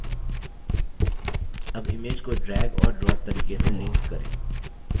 अब image को drag और drop तरीके से link करें